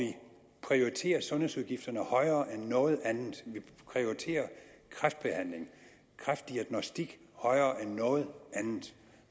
prioriterer sundhedsudgifterne højere end noget andet vi prioriterer kræftbehandling kræftdiagnostik højere end noget andet